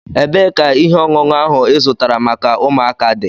Ebeé ka ihe ọṅụṅụ áhù ị zụtara maka ụmụaka di?